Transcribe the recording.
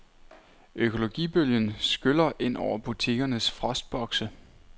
Økologibølgen skyller ind over butikkernes frostbokse.